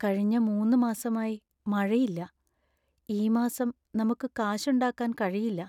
കഴിഞ്ഞ മൂന്ന് മാസമായി മഴയില്ല. ഈ മാസം നമുക്ക് കാശൊണ്ടാക്കാന്‍ കഴിയില്ല.